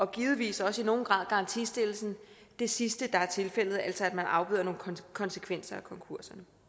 givetvis også i nogen grad garantistillelsen det sidste der er tilfældet altså at man afbøder nogle konsekvenser af konkurser